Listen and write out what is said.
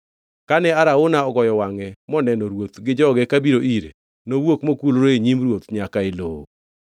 Kane Arauna ogoyo wangʼe moneno ruoth gi joge kabiro ire, nowuok mokulore e nyim ruoth nyaka e lowo.